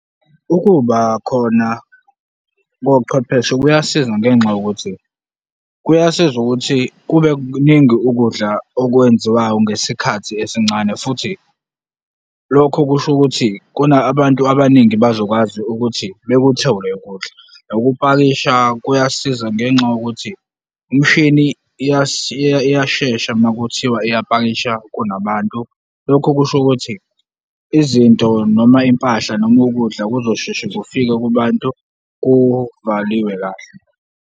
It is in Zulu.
Ukuba khona kochwepheshe kuyasiza ngenxa yokuthi kuyasiza ukuthi kube kuningi ukudla okwenziwayo ngesikhathi esincane futhi lokho kusho ukuthi kona abantu abaningi bazokwazi ukuthi bekuthole ukudla. Ukupakisha kuyasiza ngenxa yokuthi imshini iyashesha uma kuthiwa iy pakisha kunabantu, lokho kusho ukuthi izinto noma impahla noma ukudla kuzosheshe kufike kubantu kuvaliwe kahle.